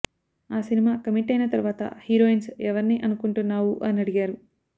ఆ cinema commit అయిన తర్వాత హీరోయిన్స్ ఎవర్ని అనుకుంటున్నావు అని అడిగారు